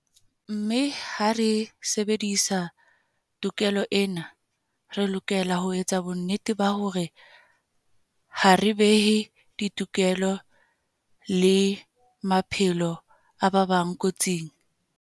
Mme ha re sebedisa tokelo ena, re lokela ho etsa bonnete ba hore ha re behe ditokelo le maphelo a ba bang kotsing.